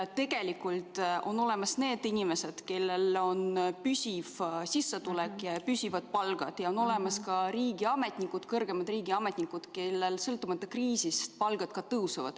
Tegelikult on olemas need inimesed, kellel on püsiv sissetulek ehk püsiv palk, ja on olemas ka riigiametnikud, kõrgemad riigiametnikud, kellel sõltumata kriisist palk tõuseb.